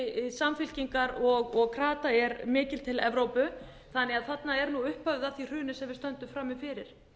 samfylkingar og krata er mikið til evrópu þannig að þarna er upphafið að því hruni sem við stöndum frammi fyrir